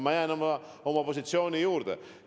Ma jään oma positsiooni juurde.